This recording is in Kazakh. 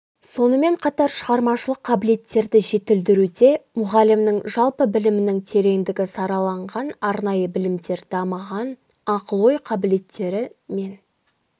сонымен қатар шығармашылық қабілеттерді жетілдіруде мұғалімнің жалпы білімнің тереңдігі сараланған арнайы білімдер дамыған ақыл-ой қабілеттері мен